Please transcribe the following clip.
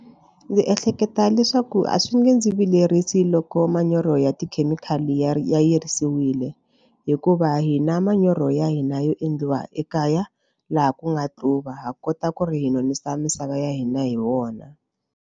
Ndzi ehleketa leswaku a swi nge ndzi vilerisa loko manyoro ya tikhemikhali ya ta yirisiwile hikuva hina manyoro ya hina yo endliwa ekaya laha ku nga tluva ha kota ku ri hi nonisa misava ya hina hi wona.